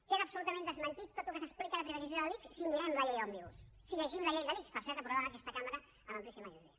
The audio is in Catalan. queda absolutament desmentit tot el que s’explica de privatització de l’ics si mirem la llei òmnibus si llegim la llei de l’ics per cert aprovada en aquesta cambra per amplíssima majoria